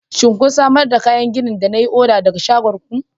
shin kun samar da kayan gini da na yi oda daga shagon ku.